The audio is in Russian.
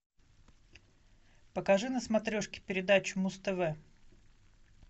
покажи на смотрешке передачу муз тв